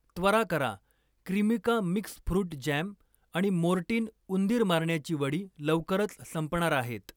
त्वरा करा, Kreemica mix fruit jam आणि मोर्टीन उंदीर मारण्याची वडी लवकरच संपणार आहेत.